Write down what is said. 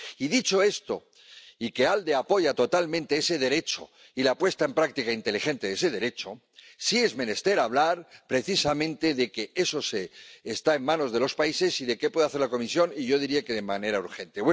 Y dicho esto, y que el Grupo ALDE apoya totalmente ese derecho y la puesta en práctica inteligente de ese derecho, sí es menester hablar precisamente de que eso está en manos de los países y de qué puede hacer la Comisión, y yo diría que de manera urgente.